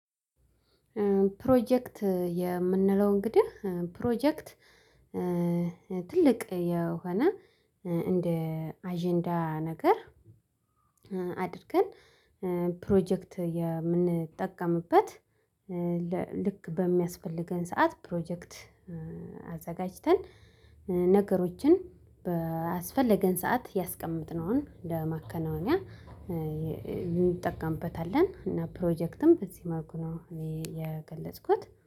ፕሮጀክት የምንለው እንግዲህ ፕሮጀክት ትልቅ የሆነ እንደ አጀንዳ ነገር አድርገን ፕሮጀክት የምንጠቀምበት ልክ በሚያስፈልገን ሰዓት ፕሮጀክት አዘጋጅተን ነገሮችን በአስፈለገን ሰዓት ያስቀመጥነውን ለማከናወኛ እንጠቀምበታለን እና ፕሮጀክትን በዚህ መልኩ ነው። እኔ የገለጽኩት